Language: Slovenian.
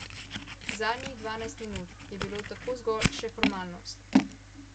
Zadnjih dvanajst minut je bilo tako zgolj še formalnost.